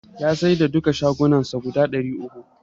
Ya saida duka shagunnan sa guda ɗari uku.